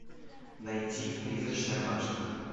найти призрачная башня